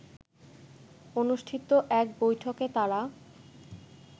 অনুষ্ঠিত এক বৈঠকে তারা